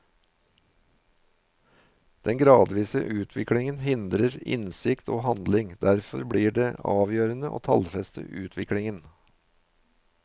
Den gradvise utviklingen hindrer innsikt og handling, derfor blir det avgjørende å tallfeste utviklingen.